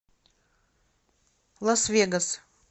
лас вегас